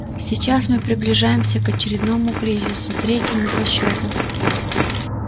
сейчас мы приближаемся к очередному кризису третьему по счету